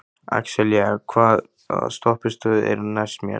Axelía, hvaða stoppistöð er næst mér?